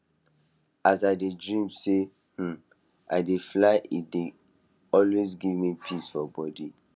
as i dey dream say um i dey fly e dey always give me peace for body